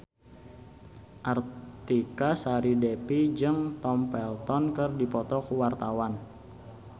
Artika Sari Devi jeung Tom Felton keur dipoto ku wartawan